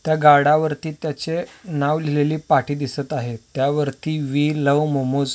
त्या गडावरती त्याचे नाव लिहिलेली पाटी दिसत आहेत त्यावरती वी लवज मोमोज --